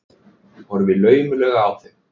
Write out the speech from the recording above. Horfi laumulega á þau.